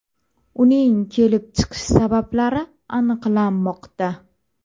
Uning kelib chiqish sabablari aniqlanmoqda.